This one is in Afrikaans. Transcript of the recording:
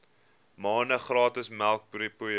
maande gratis melkpoeier